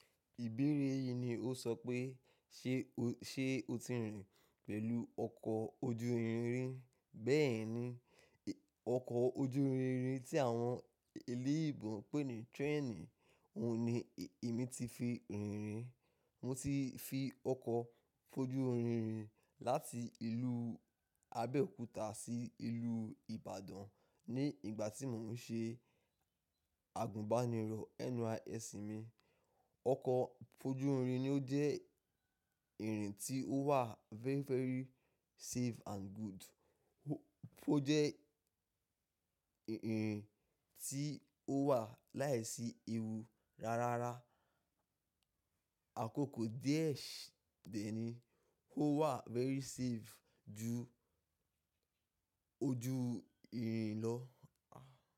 Ìbéèrè yìí ni ó sọ pé ṣé, ṣé o ti rìn pẹ̀lú ọkọ ojú irin rín? Bẹ́ẹ̀ ni, ọkọ̀ ojú irin tí àwọn eléèbó pè ní train, òun ni èmi ti fi rìn rín. Mo ti fi ọkọ̀ ojú irin rìn láti ìlú Abẹ́òkúta sí ìlú Ìbàdàn ní ìgbà tí mò ń ṣe àgùnbánirọ̀ NYSC mi. Ọkọ̀ ojú irin ni ó jẹ́ ìrìn tí ó wà very, very safe and good. Ó jẹ́ ìrìn tí ó wà láìsí ewu rárá. Àkókò díẹ̀ dẹ̀ni, ó wà very safe ju ojú irin lọ.